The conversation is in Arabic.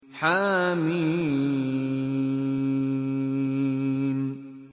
حم